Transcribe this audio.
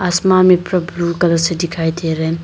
आसमान में पुरा ब्ल्यू ब्लू कलर सा दिखाई दे रहा है।